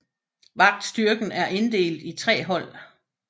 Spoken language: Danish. Vagtstyrken er inddelt i tre hold